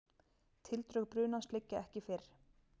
Tildrög brunans liggja ekki fyrr